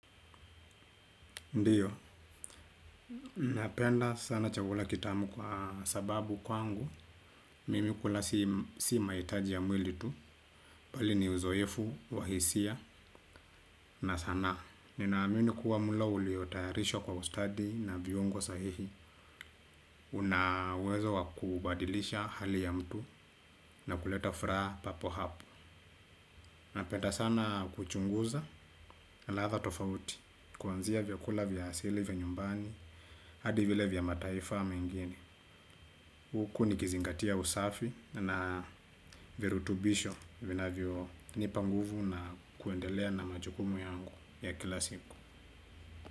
Ndio, napenda sana chakula kitamu kwa sababu kwangu mimi kula si mahitaji ya mwili tu, bali ni uzoefu, wa hisia, na sanaa, ninaamini kuwa mlo uliotayarishwa kwa ustadi na viungo sahihi, una uwezo wakubadilisha hali ya mtu na kuleta furaha papo hapo. Napenda sana kuchunguza ladha tofauti kwanzia vyakula vya asili vya nyumbani, hadi vile vya mataifa mengine. Huku nikizingatia usafi na virutubisho vinavyo nipa nguvu na kuendelea na majukumu yangu ya kila siku.